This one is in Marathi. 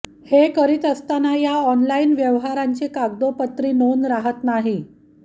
हे करीत असताना या आॅनलाईन व्यवहारांची कागदोपत्री नोंद राहात नाही